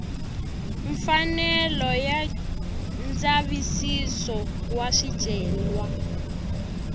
mfanelo ya ndzavisiso wa swicelwa